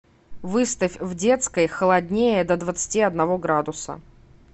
выставь в детской холоднее до двадцати одного градуса